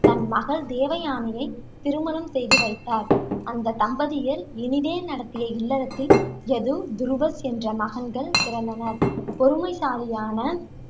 தன் மகள் தேவயானையைத் திருமணம் செய்து வைத்தார். அந்த தம்பதியர் இனிதே நடத்திய இல்லறத்தில், யது, துருவஸ் என்ற மகன்கள் பிறந்தனர். பொறுமைசாலியான